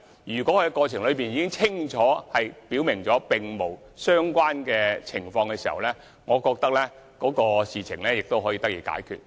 如果他們已清楚表明並無相關情況，我認為事情便應可得以解決。